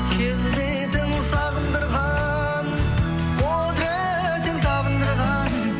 келбетің сағындырған құдыретің табындырған